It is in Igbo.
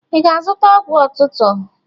Ị ga-azụta ọgwụ otụtọ?